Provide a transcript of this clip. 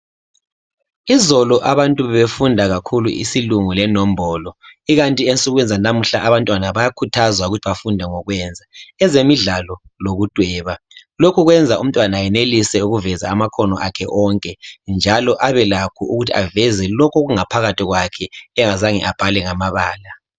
Izolo abantu befunda kakhulu isilungu lenombolo. Ikanti ensukwini zanamuhla abantwana bayakhuthazwa ukuthi bafunde ngokwenza ezemidlalo lokudweba lokhu kwenza umntwana enelise ukuveza amakhono akhe onke njalo abe lakho ukuthi aveze lokhu okungaphakathi kwakhe engazange abhale ngamabala.